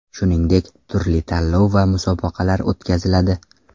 Shuningdek, turli tanlov va musobaqalar o‘tkaziladi.